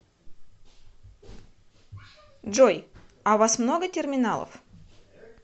джой а у вас много терминалов